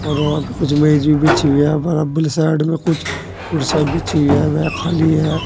Ground पे कुछ मेज भी बिछी हुई है साइड में कुछ कुर्सियां बिछी हुई है वह खाली है।